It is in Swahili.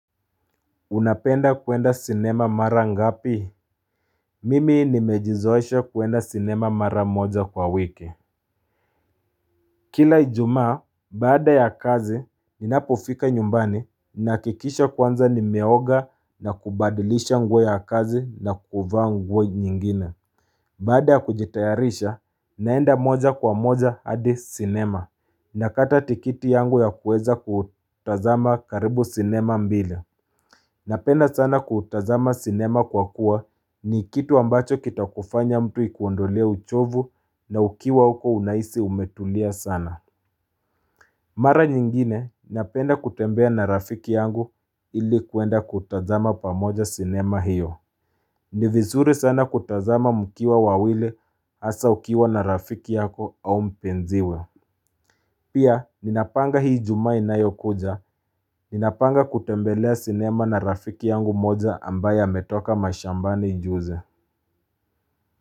Unapenda kuenda sinema mara ngapi? Mimi nimejizoesha kuenda sinema mara moja kwa wiki.j Kila ijumaa, baada ya kazi, ninapofika nyumbani, ninahakikisha kwanza nimeoga na kubadilisha nguo ya kazi na kuvaa nguo nyinginw. Baada ya kujitayarisha, naenda moja kwa moja hadi sinema. Nakata tikiti yangu ya kuweza kutazama karibu sinema mbili. Napenda sana kutazama sinema kwa kuwa ni kitu ambacho kitakufanya mtu ikuondolea uchovu na ukiwa huko unahisi umetulia sana. Mara nyingine napenda kutembea na rafiki yangu ili kuenda kutazama pamoja sinema hiyo. Ni vizuri sana kutazama mkiwa wawili hasa ukiwa na rafiki yako au mpenziwe. Pia, ninapanga hii ijumaa inayo kuja. Ninapanga kutembelea sinema na rafiki yangu moja ambaye ametoka mashambani juzi.